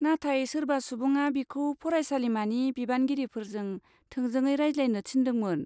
नाथाय सोरबा सुबुङा बिखौ फरायसालिमानि बिबानगिरिफोरजों थोंजोंङै रायज्लायनो थिन्दोंमोन।